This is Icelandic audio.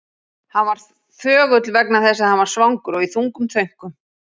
Hann var þögull vegna þess að hann var svangur og í þungum þönkum.